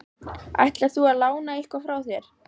Ætlar þú að lána eitthvað frá þér?